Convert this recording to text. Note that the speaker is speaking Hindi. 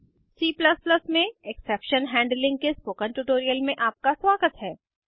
C में एक्सेप्शन हैंडलिंग के स्पोकन ट्यूटोरियल में आपका स्वागत है